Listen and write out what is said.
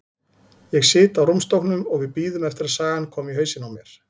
Ég sit á rúmstokknum og við bíðum eftir að sagan komi í hausinn á mér.